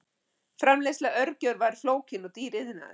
Framleiðsla örgjörva er flókinn og dýr iðnaður.